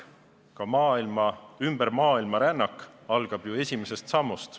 Iga rännak, ka ümber maailma rännak, algab ju esimesest sammust.